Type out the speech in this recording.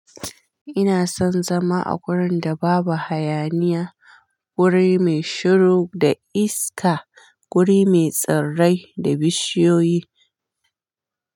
Ina son zama a gurin da babu hayaniya, guri mai shiru da iska, guri mai tsirrai da bishiyoyi.